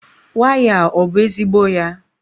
waya a ọ bụ ezigbo ya?